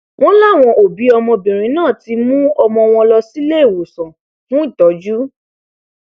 wọn láwọn òbí ọmọbìnrin náà ti mú ọmọ wọn lọ síléemọsán fún ìtọjú